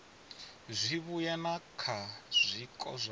zwivhuya na kha zwiko zwa